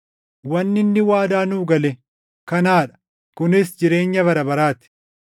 Wanni inni waadaa nuu gale kanaa dha; kunis jireenya bara baraa ti.